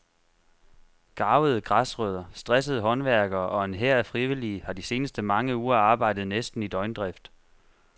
Garvede græsrødder, stressede håndværkere og en hær af frivillige har de seneste mange uger arbejdet næsten i døgndrift.